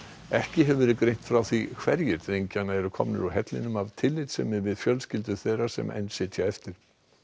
ekki hefur verið greint frá því hverjir drengjanna eru komnir úr hellinum af tillitssemi við fjölskyldur þeirra sem enn sitja eftir